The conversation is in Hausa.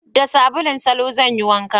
Da sabulun salo zan yi wanka